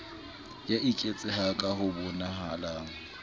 ya eketseha ka ho bonahalang